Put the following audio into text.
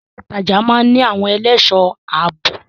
Ilé ìtajà máa ń ní àwọn ẹlẹ́ṣọ̀ ààbò.